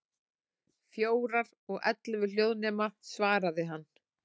Fjórar, og ellefu hljóðnema, svaraði hann.